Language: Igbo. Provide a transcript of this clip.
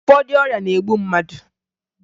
Ụfọdụ ọrịa na-egbu mmadụ